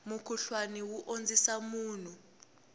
mukhuhlwana wu ondzisa munhu